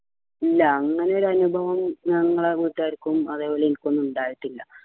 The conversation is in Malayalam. ഇല്ല അങ്ങനെ ഒരു അനുഭവം ഞങ്ങളെ വീട്ടുകാർക്കും അതേപോലെ എനിക്കൊന്നും ഉണ്ടായിട്ടില്ല